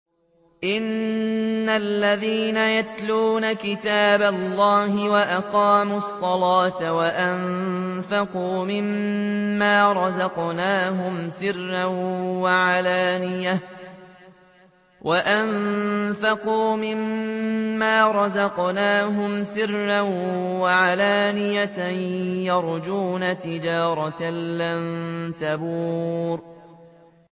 إِنَّ الَّذِينَ يَتْلُونَ كِتَابَ اللَّهِ وَأَقَامُوا الصَّلَاةَ وَأَنفَقُوا مِمَّا رَزَقْنَاهُمْ سِرًّا وَعَلَانِيَةً يَرْجُونَ تِجَارَةً لَّن تَبُورَ